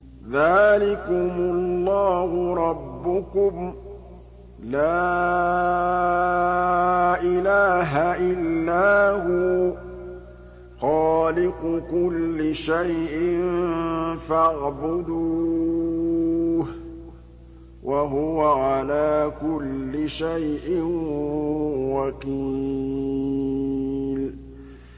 ذَٰلِكُمُ اللَّهُ رَبُّكُمْ ۖ لَا إِلَٰهَ إِلَّا هُوَ ۖ خَالِقُ كُلِّ شَيْءٍ فَاعْبُدُوهُ ۚ وَهُوَ عَلَىٰ كُلِّ شَيْءٍ وَكِيلٌ